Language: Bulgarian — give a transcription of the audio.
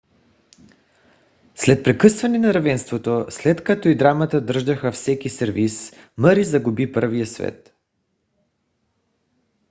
след прекъсване на равенството след като и двамата държаха всеки сервис мъри загуби първия сет